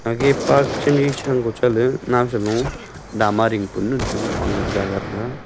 ega park chamji sha kho chale naosa bu dama ding panu chong pong jaga thang ga.